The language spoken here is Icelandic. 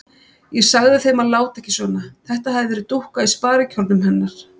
Ég sagði þeim að láta ekki svona, þetta hefði verið dúkka í sparikjólnum hennar.